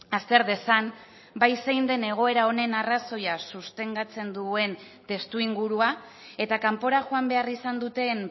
azter dezan bai zein den egoeran honen arrazoia sustengatzen duen testuingurua eta kanpora joan behar izan duten